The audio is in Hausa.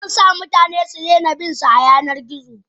Zansa mutane sudaina binsa a yanar gizo.